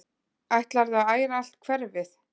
Ætlarðu að æra allt hverfið?